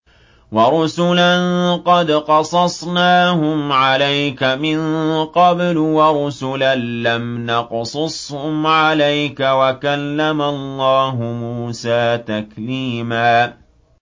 وَرُسُلًا قَدْ قَصَصْنَاهُمْ عَلَيْكَ مِن قَبْلُ وَرُسُلًا لَّمْ نَقْصُصْهُمْ عَلَيْكَ ۚ وَكَلَّمَ اللَّهُ مُوسَىٰ تَكْلِيمًا